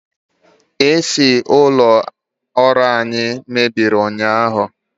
AC ụlọ ọrụ anyi mebiri ụnyahụ